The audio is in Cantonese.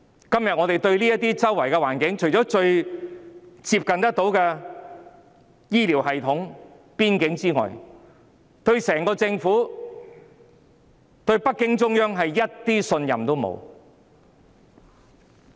今天我們對周圍的環境，除了日常接觸的醫療系統外，對整個政府和北京中央毫無信任。